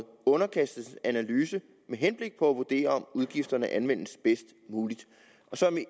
underkastes en analyse med henblik på at vurdere om udgifterne anvendes bedst muligt